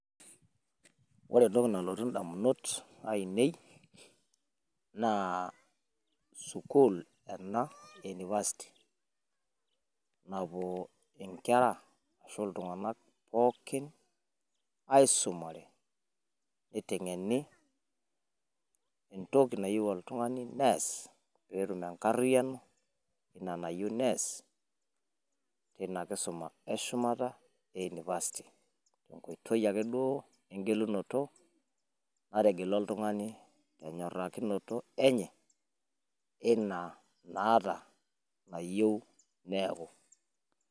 Ore entoki nalotu indamunot aainei naa sukuul ena ee university napuo inkera ashu iltinganak pookin aisumare neitengenientoki nayoe oltungani neeas peetum enkariano ina nayieu nees Tina kisuma eshumata ee university tenkitoi engelunoto nategelua oltungani tenyorakinoto enye ina maata nayiu neeku